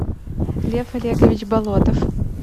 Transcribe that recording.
лев олегович болотов